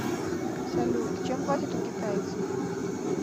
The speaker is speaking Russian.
салют чем платят у китайцев